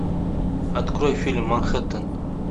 открой фильм манхэттен